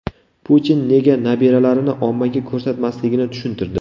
Putin nega nabiralarini ommaga ko‘rsatmasligini tushuntirdi.